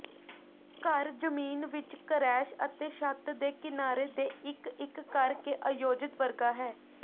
ਘਰ ਜ਼ਮੀਨ ਵਿੱਚ ਕਰੈਸ਼ ਅਤੇ ਛੱਤ ਦੇ ਕਿਨਾਰੇ ਦੇ ਇੱਕ ਇੱਕ ਕਰਕੇ ਆਯੋਜਿਤ ਵਰਗਾ ਹੈ